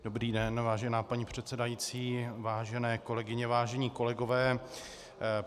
Dobrý den, vážená paní předsedající, vážené kolegyně, vážení kolegové.